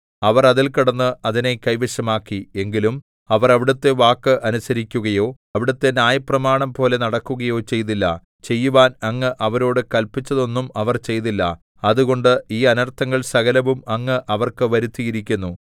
അവർ അതിൽ കടന്ന് അതിനെ കൈവശമാക്കി എങ്കിലും അവർ അവിടുത്തെ വാക്ക് അനുസരിക്കുകയോ അവിടുത്തെ ന്യായപ്രമാണംപോലെ നടക്കുകയോ ചെയ്തില്ല ചെയ്യുവാൻ അങ്ങ് അവരോടു കല്പിച്ചതൊന്നും അവർ ചെയ്തില്ല അതുകൊണ്ട് ഈ അനർത്ഥങ്ങൾ സകലവും അങ്ങ് അവർക്ക് വരുത്തിയിരിക്കുന്നു